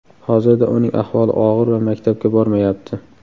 Hozirda uning ahvoli og‘ir va maktabga bormayapti.